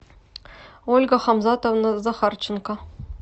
ольга хамзатовна захарченко